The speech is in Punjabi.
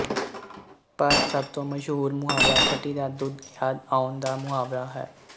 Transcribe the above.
ਪਰ ਸਭ ਤੋਂ ਮਸ਼ਹੂਰ ਮੁਹਾਵਰਾ ਛਟੀ ਦਾ ਦੁੱਧ ਯਾਦ ਆਉਣ ਦਾ ਮੁਹਾਵਰਾ ਹੈ